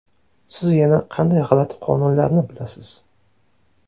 Siz yana qanday g‘alati qonunlarni bilasiz?